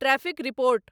traffic report